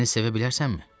Məni sevə bilərsənmi?